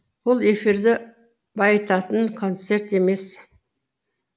ол эфирді байытатын концерт емес